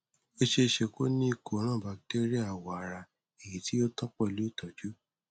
ó ṣeéṣe kó o ní ìkóràn batéríà awọ ara èyí tí ò tán pẹlú ìtọjú